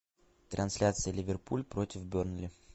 трансляция ливерпуль против бернли